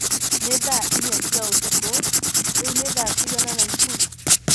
Nĩ thaa inya cia ũtukũ. Rĩu nĩ thaa cĩigana naikurru